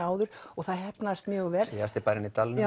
áður og það heppnaðist mjög vel síðasti bærinn í dalnum